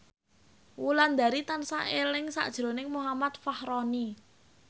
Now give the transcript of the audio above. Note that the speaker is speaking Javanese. Wulandari tansah eling sakjroning Muhammad Fachroni